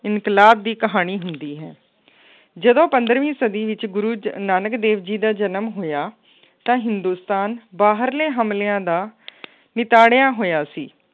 ਇਨਕਲਾਬ ਦੀ ਕਹਾਣੀ ਹੁੰਦੀ ਹੈ ਜਦੋਂ ਪੰਦਰਵੀਂ ਸਦੀ ਵਿੱਚ ਗੁਰੂ ਜ ਨਾਨਕ ਦੇਵ ਜੀ ਦਾ ਜਨਮ ਹੋਇਆ ਤਾਂ ਹਿੰਦੁਸਤਾਨ ਬਾਹਰਲੇ ਹਮਲਿਆਂ ਦਾ ਨਿਤਾੜਿਆ ਹੋਇਆ ਸੀ